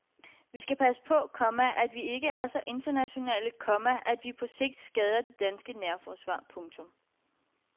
Vi skal passe på, komma at vi ikke er så internationale, komma at vi på sigt skader det danske nærforsvar. punktum